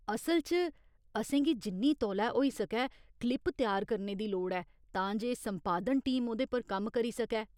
असल च असेंगी जिन्नी तौले होई सकै क्लिप त्यार करने दी लोड़ ऐ तां जे संपादन टीम ओह्‌दे पर कम्म करी सकै।